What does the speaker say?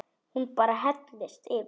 Hún bara hellist yfir.